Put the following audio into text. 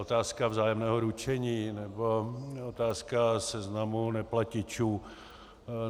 Otázka vzájemného ručení nebo otázka seznamu neplatičů.